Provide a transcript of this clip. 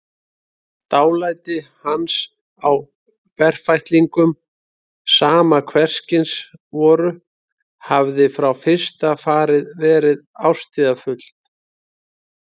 Dálæti hans á ferfætlingum, sama hverskyns voru, hafði frá fyrsta fari verið ástríðufullt.